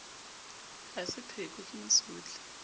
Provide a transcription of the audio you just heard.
ha se pheko ke mosotli